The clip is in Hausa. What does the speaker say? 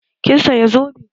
Kin saya zobe?